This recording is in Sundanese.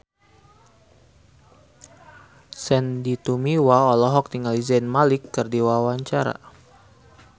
Sandy Tumiwa olohok ningali Zayn Malik keur diwawancara